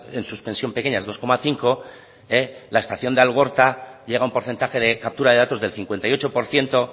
en suspensión pequeñas dos coma cinco la estación de algorta llega a un porcentaje de captura de datos del cincuenta y ocho por ciento